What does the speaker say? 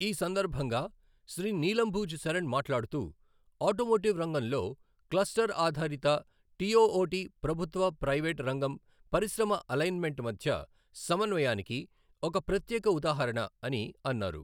ఈ సందర్భంగా శ్రీ నీలంబూజ్ శరణ్ మాట్లాడుతూ, ఆటోమోటివ్ రంగంలో క్లస్టర్ ఆధారిత టి ఒఓటి ప్రభుత్వ, ప్రైవేట్ రంగం, పరిశ్రమ అలైన్ మెంట్ మధ్య సమన్వయానికి ఒక ప్రత్యేక ఉదాహరణ అని అన్నారు.